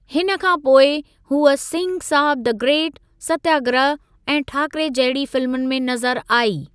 हिन खां पोइ, हूअ सिंह साब द ग्रेट, सत्याग्रह ऐं ठाकरे जहिड़ी फिल्मुनि में नज़रु आई।